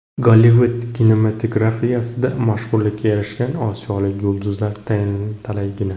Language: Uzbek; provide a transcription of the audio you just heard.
Gollivud kinematografiyasida mashhurlikka erishgan osiyolik yulduzlar talaygina.